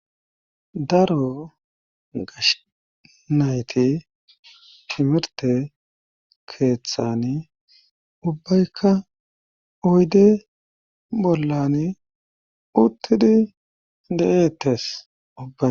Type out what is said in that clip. Daro gashnayti simirte keeththan ubbaykka oyde bollan uttidi de7eettes ubbay.